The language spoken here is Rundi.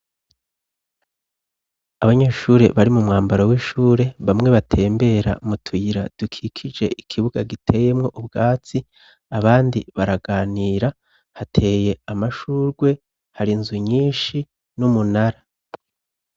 Abanyeshure bari mu mwambaro w'ishure bamwe batembera mu tuyira dukikije ikibuga giteyemwo ubwatsi abandi baraganira hateye amashurwe hari nzu nyinshi n'umunara.